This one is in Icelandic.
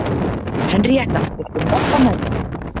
Henrietta, viltu hoppa með mér?